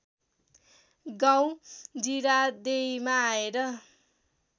गाउँ जिरादेईमा आएर